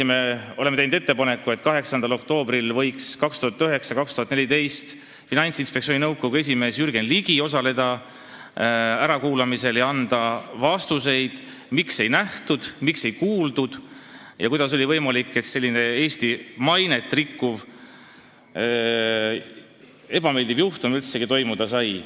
Me oleme teinud ettepaneku, et 8. oktoobril võiks perioodil 2009–2014 Finantsinspektsiooni nõukogu esimees olnud Jürgen Ligi osaleda ärakuulamisel ja anda vastuseid, miks ei nähtud ega kuuldud ohtu ja kuidas oli võimalik, et selline Eesti mainet rikkuv tegevus üldse toimuda sai.